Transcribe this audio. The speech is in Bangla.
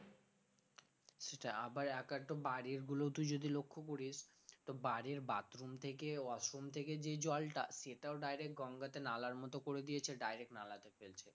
সেটাই আবার এক আধটু বাড়ির গুলোতো তুই যদি লক্ষ্য করিস তো বাড়ির bathroom থেকে washroom থেকে যে জলটা সেটাও direct গঙ্গাতে নালার মতো করে দিয়েছে direct নালাতে ফেলছে